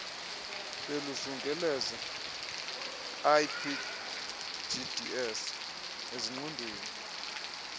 beluzungeleze ipgds ezingqondweni